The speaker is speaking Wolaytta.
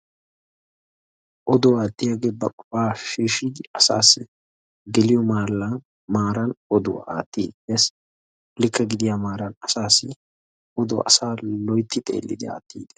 Oduwa aattiyagee ba qofaa shiishidi asaasii geliyo maallaa maaran oduwa aattiiddi dees. Likke gidiya maaran asaassi oduwaa asaa loytti xeellidi aattiiddi dees.